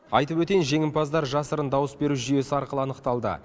айтып өтейін жеңімпаздар жасырын дауыс беру жүйесі арқылы анықталды